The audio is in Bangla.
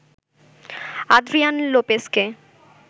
আদ্রিয়ান লোপেসকে